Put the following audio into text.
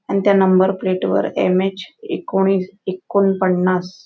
आणि त्या number plate वर एम यच एकोणीस एकोणपानस--